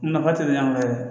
Nafa tɛ ɲan dɛ